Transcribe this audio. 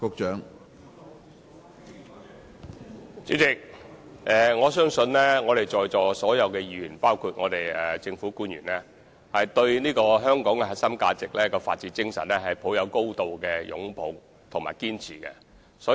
主席，相信在座所有議員，包括政府官員，對香港的核心價值、法治精神，均是高度擁抱和堅持。